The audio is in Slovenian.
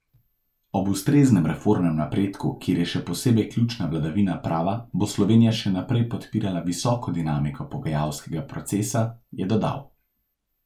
Ob ustreznem reformnem napredku, kjer je še posebej ključna vladavina prava, bo Slovenija še naprej podpirala visoko dinamiko pogajalskega procesa, je dodal.